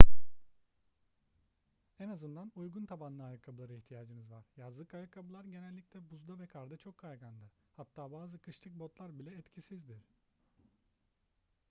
en azından uygun tabanlı ayakkabılara ihtiyacınız var yazlık ayakkabılar genellikle buzda ve karda çok kaygandır hatta bazı kışlık botlar bile etkisizdir